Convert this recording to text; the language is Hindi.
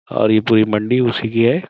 और ये पूरी मंडी उसी की है।